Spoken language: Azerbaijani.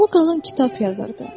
Bu qalan kitab yazırdı.